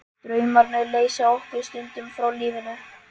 Draumarnir leysa okkur stundum frá lífinu.